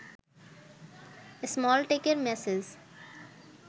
স্মলটকের message